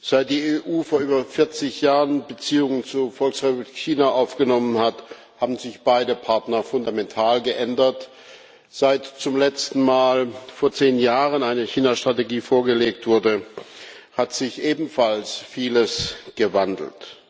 Seit die EU vor über 40 Jahren Beziehungen zur Volksrepublik China aufgenommen hat, haben sich beide Partner fundamental geändert. Seit zum letzten Mal vor zehn Jahren eine China Strategie vorgelegt wurde, hat sich ebenfalls vieles gewandelt.